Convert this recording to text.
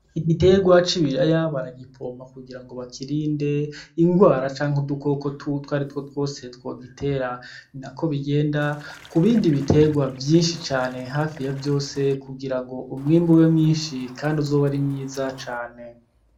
Igiterwa c'ibiraya baragipompa kugirango bakirinde ingwara canke udukoko twaritwo twose twogitera ninako bigenda kubindi biterwa vyishi cane hafi ya vyose kugiranfo umwimbu ube mwishi kandi uzobe ari mwiza cane.